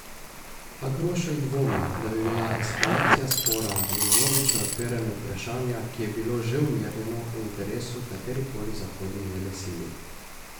A Grošelj dvomi, da bi bila eskalacija spora in vnovično odpiranje vprašanja, ki je bilo že umirjeno, v interesu katerikoli zahodni velesili.